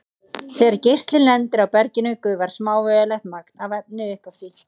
Þegar geislinn lendir á berginu gufar smávægilegt magn af efni upp af því.